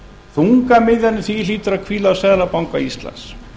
þungamiðjan í því hlýtur að hvíla á seðlabanka íslands